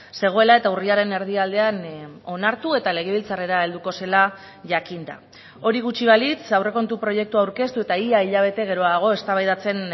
zegoela eta urriaren erdialdean onartu eta legebiltzarrera helduko zela jakinda hori gutxi balitz aurrekontu proiektua aurkeztu eta ia hilabete geroago eztabaidatzen